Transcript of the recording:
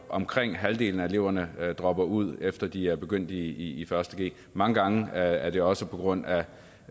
omkring halvdelen af eleverne dropper ud efter de er begyndt i første g mange gange er det også på grund af